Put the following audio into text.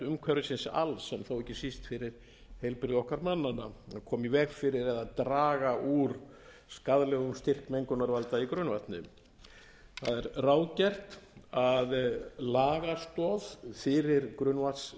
umhverfisins alls en þó ekki síst fyrir heilbrigði okkar mannanna að koma í veg fyrir eða draga úr skaðlegum styrk mengunarvalda í grunnvatni það er ráðgert að lagastoð fyrir grunnvatnstilskipuninni verði veitt með